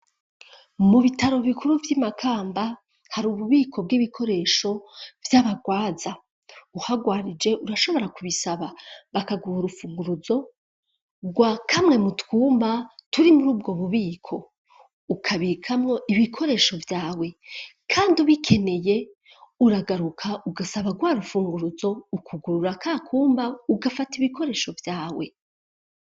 Mu bitaro bikuru vy'i Makamba hari ububiko bw'ibikoresho vy'abagwaza. Uhagwarije urashobora kubisaba bakaguha urufunguruzo rwa kamwe mu twumba turi muri ubwo bubiko ukabikamwo ibikoresho vyawe, kandi ubikeneye uragaruka ugasaba rwa rufunguruzo ukugurura ka kumba ugafata ibikoresho vyawe.